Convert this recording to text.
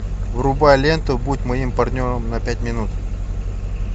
врубай ленту будь моим партнером на пять минут